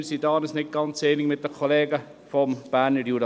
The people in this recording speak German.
Wir sind uns da nicht ganz einig mit den Kollegen aus dem Berner Jura.